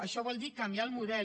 això vol dir canviar el model